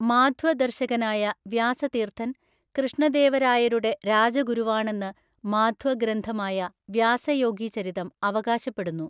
മാധ്വ ദർശകനായ വ്യാസതീർത്ഥന്‍ കൃഷ്ണദേവരായരുടെ രാജഗുരുവാണെന്ന് മാധ്വ ഗ്രന്ഥമായ വ്യാസയോഗിചരിതം അവകാശപ്പെടുന്നു.